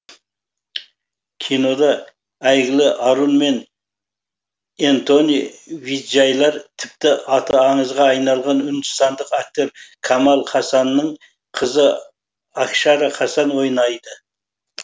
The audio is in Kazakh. кинода әйгілі арун мен энтони виджайлар тіпті аты аңызға айналған үндістандық актер камал хасанның қызы акшара хасан ойнайды